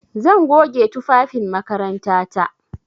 Zan goge tufafin makarantata.